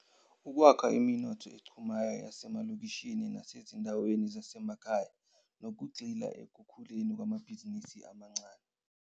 Ukwakha iminotho echumayo yasemalokishini nasezinda weni zasemakhaya, nokugxila ekukhuleni kwamabhizinisi amancane.